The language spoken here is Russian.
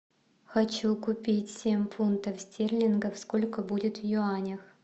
хочу купить семь фунтов стерлингов сколько будет в юанях